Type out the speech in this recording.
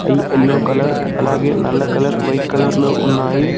అయ్ yellow colour అలాగే నల్ల కలర్ వైట్ కలర్ లో ఉన్నాయి.